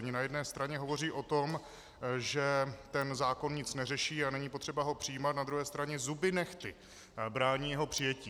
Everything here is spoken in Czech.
Oni na jedné straně hovoří o tom, že ten zákon nic neřeší a není potřeba ho přijímat, na druhé straně zuby nehty brání jeho přijetí.